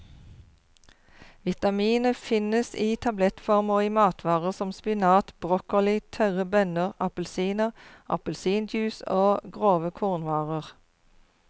Vitaminet finnes i tablettform og i matvarer som spinat, broccoli, tørre bønner, appelsiner, appelsinjuice og grove kornvarer.